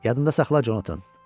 Yadında saxla Conatan.